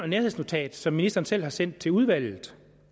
nærhedsnotat som ministeren selv har sendt til udvalget